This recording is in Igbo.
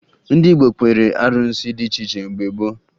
Ndị Igbo kpeere arụsị dị iche iche mgbe gboo